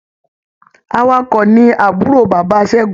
Awakọ̀ ni àbúrò bàbá Ṣẹ́gun.